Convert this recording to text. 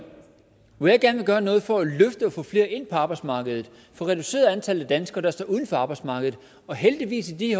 når jeg gerne vil gøre noget for at få flere ind på arbejdsmarkedet få reduceret antallet af danskere der står uden for arbejdsmarkedet og heldigvis i